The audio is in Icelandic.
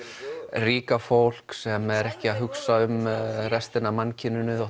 ríka fólk sem er ekki að hugsa um restina af mannkyninu